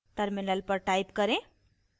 terminal पर type करें